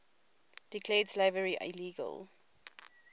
declared slavery illegal